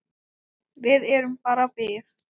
Við erum bara við